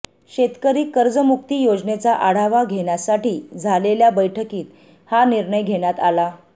शेतकरी कर्जमुक्ती योजनेचा आढावा घेण्यासाठी झालेल्या बैठकीत हा निर्णय घेण्यात आला